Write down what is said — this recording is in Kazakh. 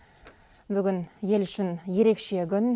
бүгін ел үшін ерекше күн